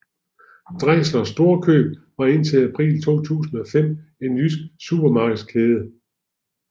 Dreisler Storkøb var indtil april 2005 en jysk supermarkedskæde